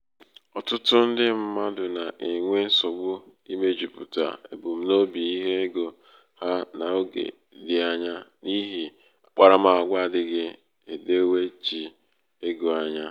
ọ̀tụtụ ndị mmadụ̀ nà-ènwe nsògbu imējūpùtà ebumnobi ihe egō hā n’oge dị̄ anya n’ihì akparamàgwà adị̄ghị̄ èdewechi egō anya.